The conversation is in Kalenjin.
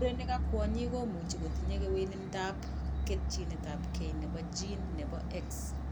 Murenik ak kwonyik komuchi kotinye kewelindop ketchinetabge nebo gene nebo X